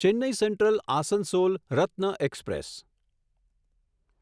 Chennai Central Asansol Ratna express